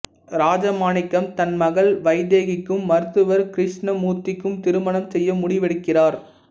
ராஜமாணிக்கம் தன் மகள் வைதேகிக்கும் மருத்துவர் கிருஷ்ணமூர்த்திக்கும் திருமணம் செய்ய முடிவெடுக்கிறார்